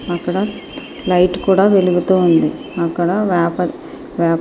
అక్కడ లైట్ కూడా వెలుగుతూ ఉంది అక్కడ వాపర్ వాపర్ --